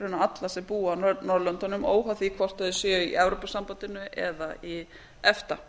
raunar alla sem búa á norðurlöndunum óháð því hvort þeir séu í evrópusambandinu eða í efta